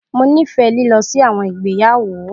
Mo nifẹ lilọ si awọn igbeyawo.